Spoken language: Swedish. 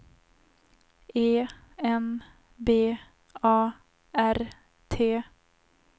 E N B A R T